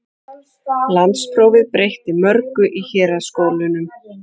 Landsprófið breytti mörgu í héraðsskólunum.